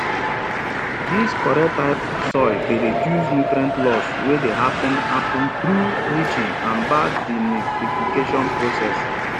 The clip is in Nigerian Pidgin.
dis correct type soil dey reduce nutrient loss wey dey happen happen through leaching and bad denitrification process